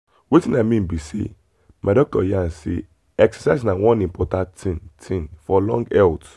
wetin i mean be sey my doctor yarn say exercise na one important thing thing for long health.